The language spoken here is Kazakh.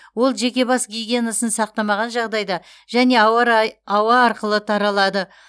ол жеке бас гигиенасын сақтамаған жағдайда және ауа арқылы таралады